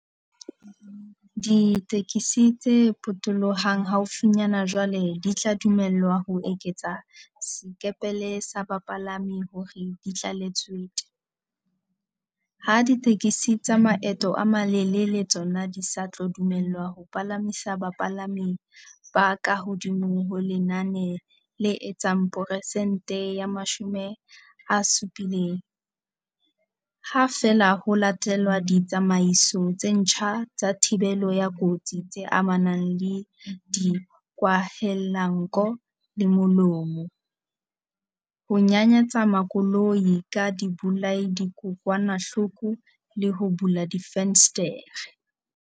Ditekesi tse potolohang haufinyana jwale di tla dumellwa ho eketsa sekepele sa bapalami hore di tlale tswete. Ha ditekesi tsa maeto a malelele tsona di sa tlo dumellwa ho palamisa bapalami ba ka hodimo ho lenane le etsang peresente ya 70, ha feela ho latelwa ditsamaiso tse ntjha tsa thibelo ya kotsi tse amanang le dikwahelanko le molomo. Ho nyanyatsa makoloi ka dibolayadikokwanahloko le ho bula difenstere.